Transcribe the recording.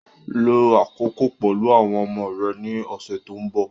Lo àkókò pẹ̀lú àwọn ọmọ rẹ ní ọ̀sẹ̀ tó ń bọ̀